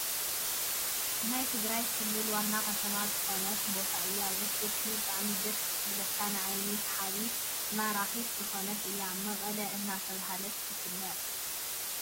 ናይ ትግራይ ክልል ዋና ከተማ ዝኮነት ቦታ እያ ። ውቅብትን ብጣዕሚ ደሰ ትብለካን ንዓይኒ ስሓቢትን መራኪት ዝኮነት እያ። መቀለ እናተባህለት ትፍለጥ።